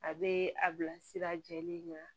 A bɛ a bila sira jɛlen ɲɛ